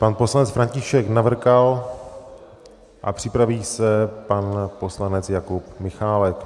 Pan poslanec František Navrkal a připraví se pan poslanec Jakub Michálek.